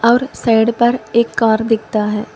और साइड पर एक कार दिखता है।